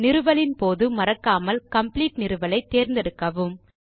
நிறுவலின் போது மறக்காமல் காம்ப்ளீட் நிறுவலை தேர்ந்தெடுக்கவும்